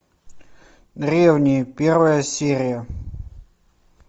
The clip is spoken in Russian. древние первая серия